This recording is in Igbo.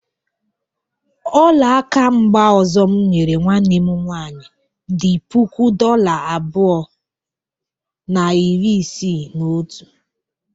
ọla aka mba ọzọ m nyere nwanne m nwaanyị dị puku dola abụọ na iri isii na otu.